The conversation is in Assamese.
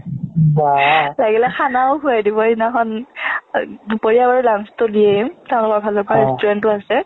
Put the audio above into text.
লাগিলে খানাও খোৱাই দিব সেইদিনাখন দুপৰীয়া বাৰু lunch টো দিয়েই ফালৰ পৰা restaurant ও আছে